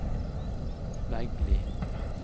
Veggli